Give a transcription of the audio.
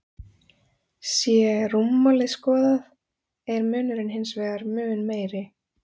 Sé rúmmálið skoðað er munurinn hins vegar mun meiri.